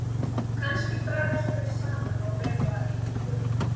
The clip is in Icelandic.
Kannski dragast þau saman og verða að engu.